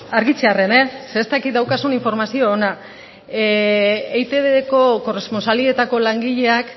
argitzearren ze ez dakit daukazun informazio ona eitbko korrespontsalietako langileek